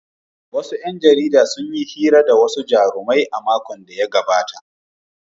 Wasu ‘yan jarida sun yi hira da wasu jarumai a makon da ya gabata.